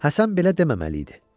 Həsən belə deməməli idi.